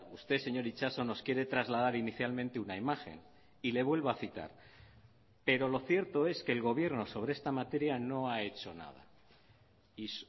usted señor itxaso nos quiere trasladar inicialmente una imagen y le vuelvo a citar pero lo cierto es que el gobierno sobre esta materia no ha hecho nada y